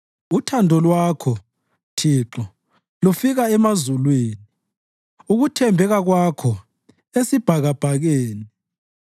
Uthando Lwakho, Thixo, lufika emazulwini, ukuthembeka Kwakho esibhakabhakeni.